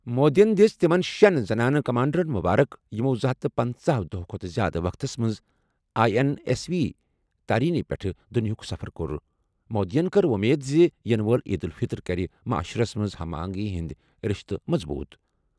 مودیَن دِژ تِمَن شیٚن زنانہٕ کمانڈرَن مُبارک یِمَو زٕ ہتَھ پنژہَ دۄہَو کھۄتہٕ زِیٛادٕ وقتَس منٛز آٮٔی این ایس وی تارینی پٮ۪ٹھ دُنیاہُک سفر کوٚر۔ مودیَن کٔر وۄمید زِ یِنہٕ وٲلۍ عید الفطر کَرِ معاشرَس منٛز ہم آہنگی ہٕنٛدۍ رشتہٕ مضبوٗط۔